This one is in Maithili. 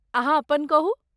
अहाँ अपन कहू?